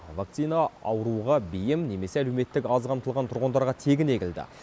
вакцина ауруға бейім немесе әлеуметтік аз қамтылған тұрғындарға тегін егілді